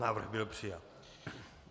Návrh byl přijat.